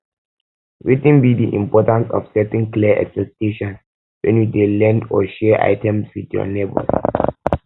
wetin be di importance of setting clear expectations when you dey lend or share items with your neighbors